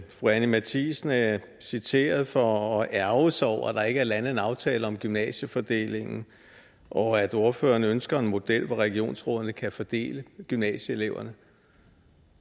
fru anni matthiesen er citeret for at ærgre sig over at der ikke er landet en aftale om gymnasiefordelingen og at ordføreren ønsker en model hvor regionsrådene kan fordele gymnasieeleverne